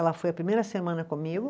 Ela foi a primeira semana comigo,